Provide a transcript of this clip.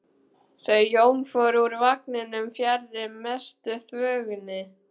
Þau Jón fóru úr vagninum fjarri mestu þvögunni.